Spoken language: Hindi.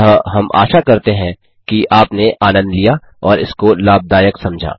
अतः हम आशा करते हैं कि आपने आनन्द लिया और इसको लाभदायक समझा